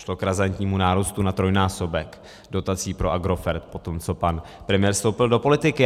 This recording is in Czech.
Došlo k razantnímu nárůstu na trojnásobek dotací pro Agrofert po tom, co pan premiér vstoupil do politiky.